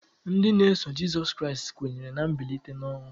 Ndị na-eso Jịsọs Kraịst kwenyere na mbilite n'ọnwụ.